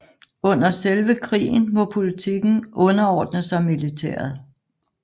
Under selve krigen må politikken underordne sig militæret